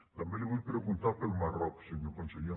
també li vull preguntar pel marroc senyor conseller